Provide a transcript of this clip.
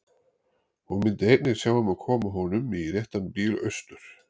Hún myndi einnig sjá um að koma honum í réttan bíl austur.